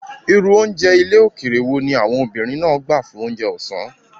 Irú oúnjẹ ilẹ̀ òkèèrè wo ni àwọn obìnrin náà gbádùn fún oúnjẹ ọ̀sán?